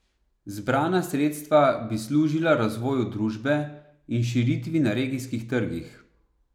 Zbrana sredstva bi služila razvoju družbe in širitvi na regijskih trgih.